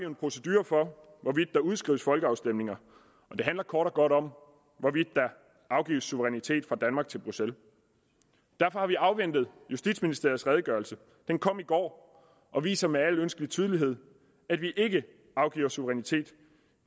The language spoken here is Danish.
en procedure for hvorvidt der udskrives folkeafstemninger og det handler kort og godt om hvorvidt der afgives suverænitet fra danmark til bruxelles derfor har vi afventet justitsministeriets redegørelse den kom i går og viser med al ønskelig tydelighed at vi ikke afgiver suverænitet